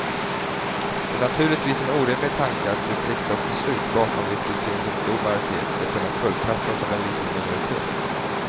Det är naturligtvis en orimlig tanke att ett riksdagsbeslut, bakom vilket finns en stor majoritet, ska kunna kullkastas av en liten minoritet.